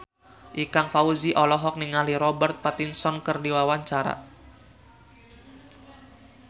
Ikang Fawzi olohok ningali Robert Pattinson keur diwawancara